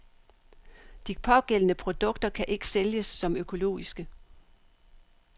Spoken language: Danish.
De pågældende produkter kan ikke sælges som økologiske.